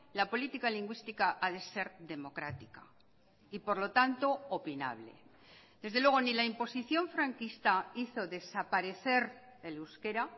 la política lingüística ha de ser democrática y por lo tanto opinable desde luego ni la imposición franquista hizo desaparecer el euskera